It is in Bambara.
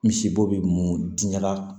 Misibo bɛ mun di ɲɛna